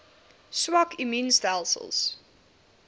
swak immuun stelsels